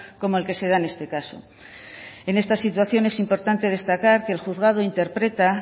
como el que se da en este caso en esta situación es importante destacar que el juzgado interpreta